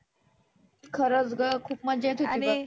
खरच ग खुप मजा येत होती बघ